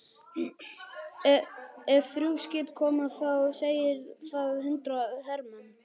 Ef þrjú skip koma þá segir það þrjú hundruð hermenn.